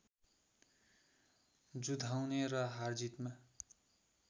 जुधाउने र हारजितमा